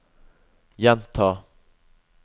gjenta